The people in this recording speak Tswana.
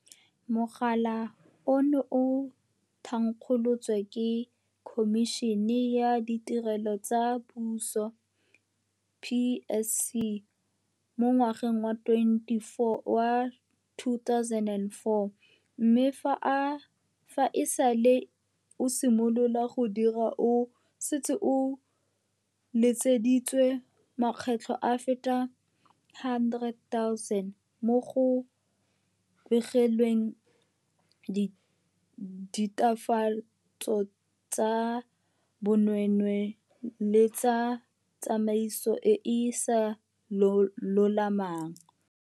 Mogala ono o thankgolotswe ke Khomišene ya Ditirelo tsa Puso, PSC, mo ngwageng wa 2004 mme fa e sale o simolola go dira o setse o letseditswe makgetlo a feta a le 100 000 mo go begilweng ditatofatso tsa bonweenwee le tsa tsamaiso e e sa lolamang.